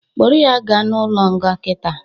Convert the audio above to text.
Kpụrụ ya ga n'ụlo nga kịta